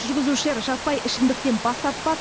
жүргізушілер жаппай ішімдіктен бас тартпас